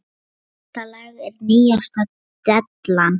Þetta lag er nýjasta dellan.